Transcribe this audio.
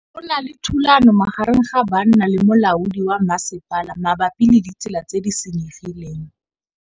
Go na le thulanô magareng ga banna le molaodi wa masepala mabapi le ditsela tse di senyegileng.